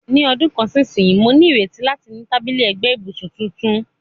Ní ọdún kan sí ìsinsìnyí, mo ní ìrètí láti ní tábìlì ẹ̀gbẹ́ ibùsùn tuntun.